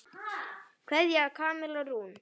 Kveðja, Kamilla Rún.